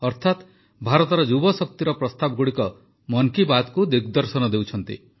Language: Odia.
ଅର୍ଥାତ ଭାରତର ଯୁବଶକ୍ତିର ପ୍ରସ୍ତାବଗୁଡ଼ିକ ମନ୍ କି ବାତ୍କୁ ଦିଗଦର୍ଶନ ଦେଉଛନ୍ତି